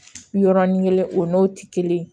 Yɔrɔnin kelen o n'o tɛ kelen ye